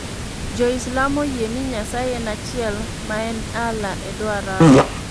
Jo-Islam oyie ni Nyasaye en achiel, ma en Allah e dho Arabu.